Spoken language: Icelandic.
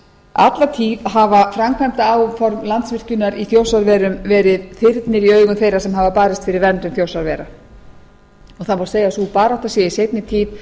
alla tíð hafa framkvæmdaáform landsvirkjunar í þjórsárverum verið þyrnir í augum þeirra sem hafa barist fyrir verndun þjórsárvera og það má segja að sú barátta sé í seinni tíð